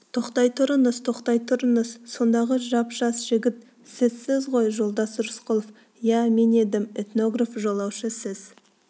тоқтай тұрыңыз тоқтай тұрыңыз сондағы жап-жас жігіт сізсіз ғой жолдас рысқұлов иә мен едім этнограф-жолаушы сіз